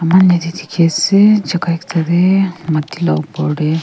tuh dekhe ase chuka ekta dae mati la opor dae.